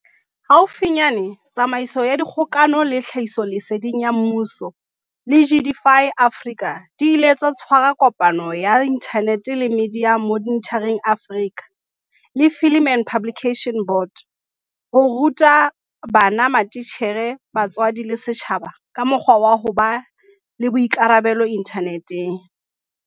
Haufinyane Tsamaiso ya Dikgokano le Tlhahisoleseding ya Mmuso, GCIS, le Digify Africa di ile tsa tshwara kopano ya inthaneteng le Media Monitoring Africa, MMA, le Film and Publication Board, FPB, ho ruta bana, matitjhere, batswadi le setjhaba ka mokgwa wa ho ba le boikarabelo inthaneteng.